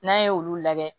N'an ye olu lajɛ